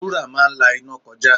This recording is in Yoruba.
Wúrà máa ń la iná kọjá.